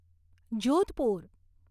Jodhpur